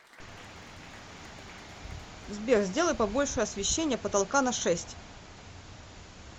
сбер сделай побольше освещение потолка на шесть